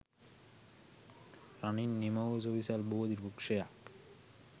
රනින් නිමවූ සුවිසල් බෝධි වෘක්ෂයක්